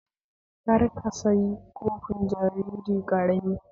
Kar ka sayi kofi jariri ƙarami